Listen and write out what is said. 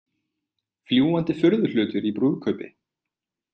Fljúgandi furðuhlutir í brúðkaupi